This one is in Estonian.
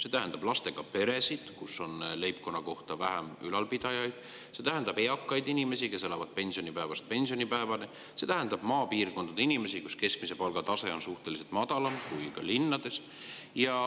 See tähendab lastega perede pihta, kus on leibkonna kohta vähem ülalpidajaid, see tähendab eakate inimese pihta, kes elavad pensionipäevast pensionipäevani, see tähendab inimeste pihta maapiirkondades, kus keskmise palga tase on suhteliselt madalam kui linnades.